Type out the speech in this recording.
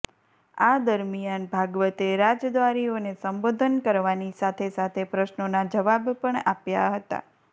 આ દરમિયાન ભાગવતે રાજદ્વારીઓને સંબોધન કરવાની સાથે સાથે પ્રશ્નોના જવાબ પણ આપ્યા હતા